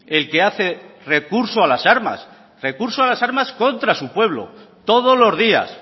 el que hace recurso a las armas recurso a las armas contra su pueblo todos los días